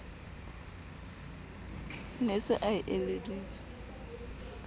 ne a se a eleditswe